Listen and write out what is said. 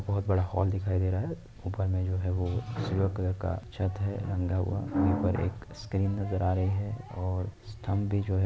बहोत बड़ा होल दिखाई दे रहा है। ऊपर में जो है वो सिल्वर कलर का छत है रंगा हुआ वहीं पर एक स्क्रीन नजर आ रही है। और स्तंभ भी जो है--